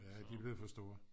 ja de er blevet for store